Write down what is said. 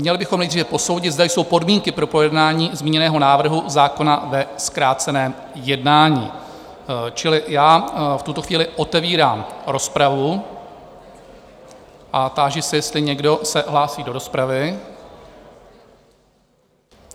Měli bychom nejdříve posoudit, zda jsou podmínky pro projednání zmíněného návrhu zákona ve zkráceném jednání, čili já v tuto chvíli otevírám rozpravu a táži se, jestli někdo se hlásí do rozpravy?